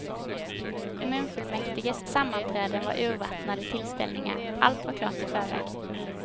Kommunfullmäktiges sammanträden var urvattnade tillställningar, allt var klart i förväg.